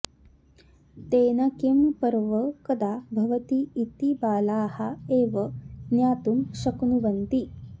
तेन किं पर्व कदा भवति इति बालाः एव ज्ञातुं शक्नुवन्ति